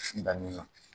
Danni na